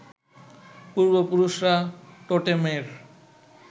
পূর্বপুরুষরা টোটেমের